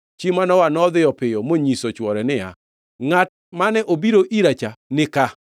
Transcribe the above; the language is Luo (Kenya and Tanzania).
Chi Manoa nodhi piyo monyiso chwore niya, “Ngʼat mane obiro ira cha ni ka!”